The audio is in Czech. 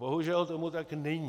Bohužel tomu tak není.